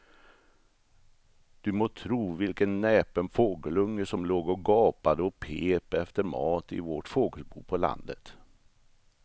Du må tro vilken näpen fågelunge som låg och gapade och pep efter mat i vårt fågelbo på landet.